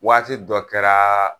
Waati dɔ kɛraa